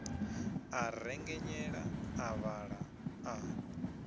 a rengenyela a vhaḓa a